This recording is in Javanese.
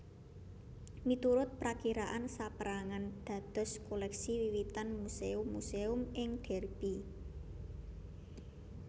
Miturut prakiraan sapérangan dados koleksi wiwitan Muséum muséum ing Derby